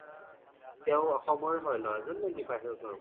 তেও অসমৰ হয় নে লৰা জন নে বাহিৰৰ কৰবাৰ?